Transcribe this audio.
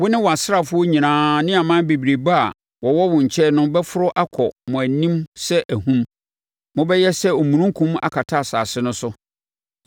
Wo ne wʼasraafoɔ nyinaa ne aman bebrebe a wɔwɔ wo nkyɛn no bɛforo akɔ mo anim sɛ ahum. Mobɛyɛ sɛ omununkum akata asase no so.